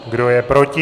Kdo je proti?